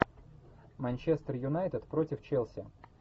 манчестер юнайтед против челси